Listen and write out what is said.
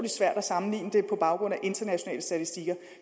svært at sammenligne det på baggrund af internationale statistikker